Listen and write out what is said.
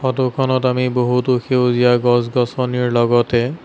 photo খনত আমি বহুতো সেউজীয়া গছ-গছনিৰ লগতে--